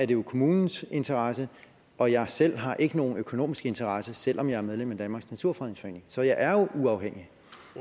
det jo kommunens interesse og jeg selv har ikke nogen økonomisk interesse selv om jeg er medlem af danmarks naturfredningsforening så jeg er jo uafhængig